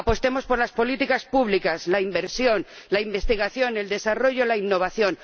apostemos por las políticas públicas, la inversión, la investigación, el desarrollo, la innovación